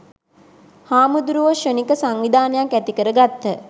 හාමුදුරුවෝ ක්ෂණික සංවිධානයක් ඇති කර ගත්හ.